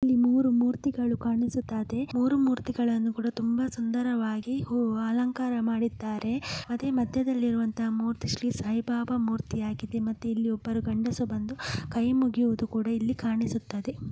ಇಲ್ಲಿ ಮೂರು ಮೂರ್ತಿಗಳು ಕಾಣಿಸುತ್ತದೆ ಮೂರು ಮೂರ್ತಿಗಳನ್ನುಕೂಡ ತುಂಬಾ ಸುಂದರವಾಗಿ ಹೂವ ಅಲಂಕಾರ ಮಾಡಿದ್ದಾರೆ ಅದೆ ಮಧ್ಯದಲ್ಲಿರುವ ಇರುವಂತಹ ಮೂರ್ತಿ ಶ್ರೀಸಾಯಿಬಾಬಾ ಮೂರ್ತಿ ಆಗಿದೆ ಮತ್ತು ಇಲ್ಲಿ ಒಬ್ಬರು ಗಂಡಸ ಬಂದು ಕೈಮುಗಿವುದು ಸಹ ಇಲ್ಲಿ ಕಾಣಿಸುತ್ತದೆ --